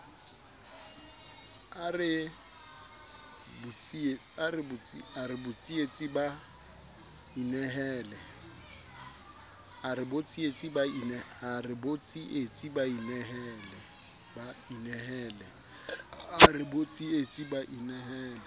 a re botsietsi ba inehele